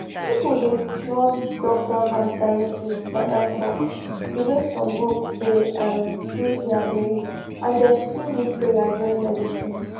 people dey trust doctor and scientist for health talk the way some group dey um do their belief and dem still need prayer join medicine